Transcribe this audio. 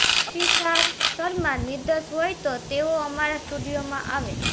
અભિસાર શર્મા નિર્દોષ હોય તો તેઓ અમારા સ્ટુડિયોમાં આવે